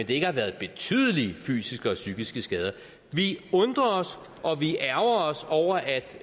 det ikke har været betydelige fysiske eller psykiske skader vi undrer os og vi ærgrer os over at